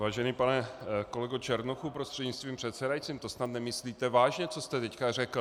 Vážený pane kolego Černochu prostřednictvím předsedajícího, to snad nemyslíte vážně, co jste teď řekl?